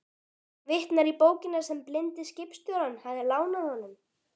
Vitnar í bókina sem blindi skipstjórinn hafði lánað honum.